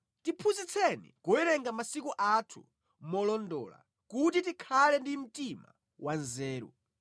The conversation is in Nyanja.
Tiphunzitseni kuwerenga masiku athu molondola, kuti tikhale ndi mtima wanzeru.